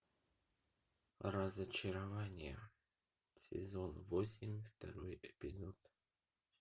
разочарование сезон восемь второй эпизод